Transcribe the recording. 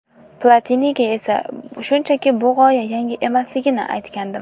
Platiniga esa shunchaki bu g‘oya yangi emasligini aytgandim”.